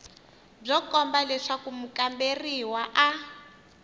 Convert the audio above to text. byo komba leswaku mukamberiwa a